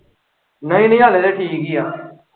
ਨਈ-ਨਈ ਹਲੇ ਤੇ ਠੀਕ ਹੀ ਆ।